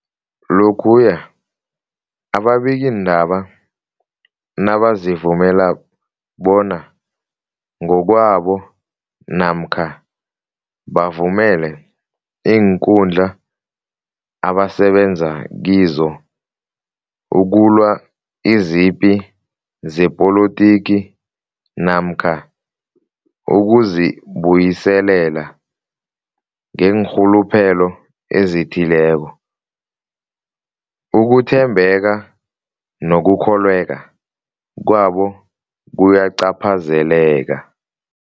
Lokhuya ababikiindaba nabazivumela bona ngokwabo namkha bavumele iinkundla abasebenza kizo ukulwa izipi zepolitiki namkha ukuzi buyiselela ngeenrhuluphelo ezithileko, ukuthembeka nokukholweka kwabo kuyacaphazeleka.